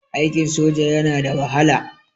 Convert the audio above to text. Aikin soja yana da wahala.